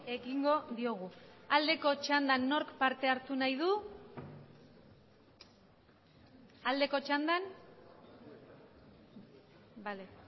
ekingo diogu aldeko txandan nork parte hartu nahi du aldeko txandan bale